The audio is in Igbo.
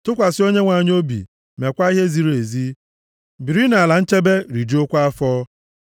Tụkwasị Onyenwe anyị obi meekwa ihe ziri ezi; biri nʼala na nchebe, rijuokwa afọ.